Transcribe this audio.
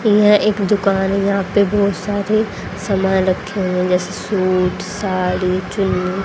यह एक दुकान है यहां पे बहुत सारे सामान रखे हुए हैं जैसे सूट साड़ी चुन्नी--